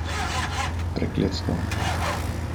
Prekletstvo.